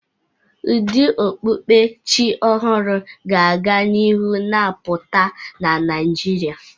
Ụdị okpukpe Chi ọhụrụ ga-aga n'ihu na-apụta na Naịjirịa.